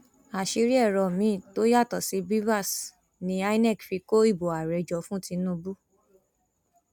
àṣírí èrò miín tó yàtọ sí bvas ni inov fi kó ìbò ààrẹ jọ fún tinubu